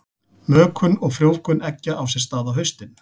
Mökun og frjóvgun eggja á sér stað á haustin.